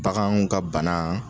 Baganw ka bana